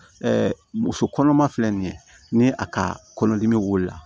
muso kɔnɔma filɛ nin ye ni a ka kɔlɔn dimi wulila